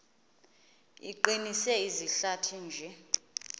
iqinise izihlathi nje